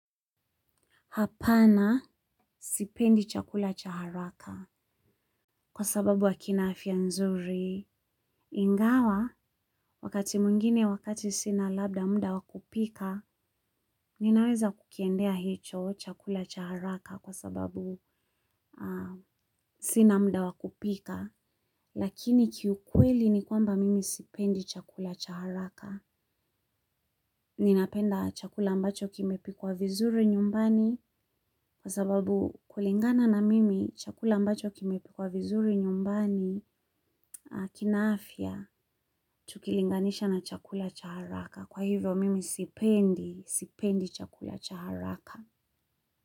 Hapana sipendi chakula cha haraka kwa sababu akina afia nzuri. Ingawa wakati mwingine wakati sina labda mda wa kupika ninaweza kukiendea chakula hicho cha haraka kwa sababu sina mda wakupika. Lakini kiukweli ni kwamba mimi sipendi chakula cha haraka. Ninapenda chakula ambacho kimepikwa vizuri nyumbani kwa sababu kulingana na mimi chakula ambacho kimepikwa vizuri nyumbani kina afya tukilinganisha na chakula cha haraka. Kwa hivyo mimi sipendi, sipendi chakula cha haraka.